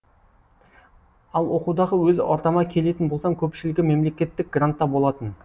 ал оқудағы өз ортама келетін болсам көпшілігі мемлекеттік грантта болатын